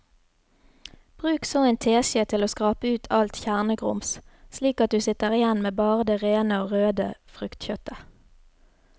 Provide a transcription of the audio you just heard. Bruk så en teskje til å skrape ut alt kjernegrums slik at du sitter igjen med bare det rene og røde fruktkjøttet.